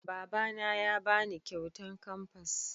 Baba na ya ba ni kyautan kamfas